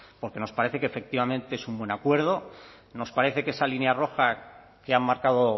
porque nos parece que efectivamente es un buen acuerdo nos parece que esa línea roja que han marcado